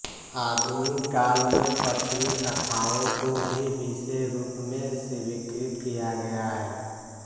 आधुनिक काल में पश्चिमी कथाओं को भी विषय रूप में स्वीकृत किया गया है